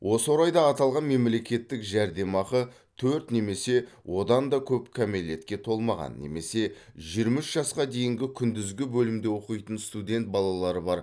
осы орайда аталған мемлекеттік жәрдемақы төрт немесе одан да көп кәмелетке толмаған немесе жиырма үш жасқа дейінгі күндізгі бөлімде оқитын студент балалары бар